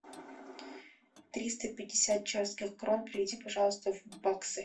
триста пятьдесят чешских крон переведи пожалуйста в баксы